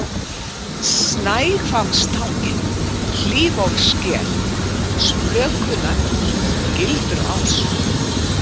Snæhvammstangi, Hlífólfssker, Sprökunaggur, Gildruás